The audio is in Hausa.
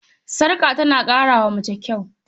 Sarƙa tana ƙara wa mace kyau.